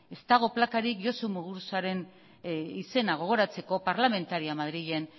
ez dago plakarik josu muguruzaren izena gogoratzeko parlamentaria madrilen